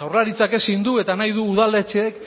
jaurlaritzak ezin du eta nahi du udaletxeek